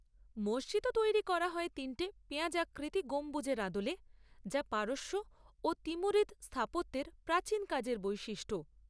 মসজিদও তৈরি করা হয় তিনটে পেঁয়াজাকৃতি গম্বুজের আদলে, যা পারস্য ও তিমুরিদ স্থাপত্যের প্রাচীন কাজের বৈশিষ্ট্য।